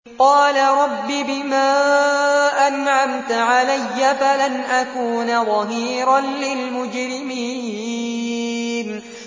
قَالَ رَبِّ بِمَا أَنْعَمْتَ عَلَيَّ فَلَنْ أَكُونَ ظَهِيرًا لِّلْمُجْرِمِينَ